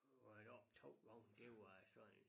Der var jeg deroppe 2 gange det var sådan et